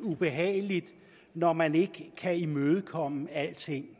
ubehageligt når man ikke kan imødekomme alting